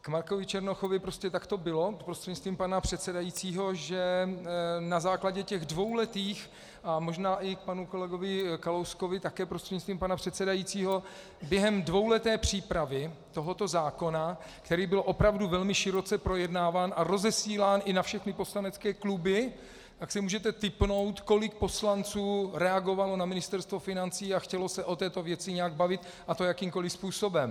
K Markovi Černochovi - prostě tak to bylo, prostřednictvím pana předsedajícího, že na základě těch dvouletých, a možná i k panu kolegovi Kalouskovi také prostřednictvím pana předsedajícího, během dvouleté přípravy tohoto zákona, který byl opravdu velmi široce projednáván a rozesílán i na všechny poslanecké kluby, tak si můžete tipnout, kolik poslanců reagovalo na Ministerstvo financí a chtělo se o této věci nějak bavit, a to jakýmkoli způsobem.